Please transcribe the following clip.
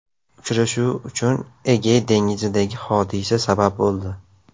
Uchrashuv uchun Egey dengizidagi hodisa sabab bo‘ldi.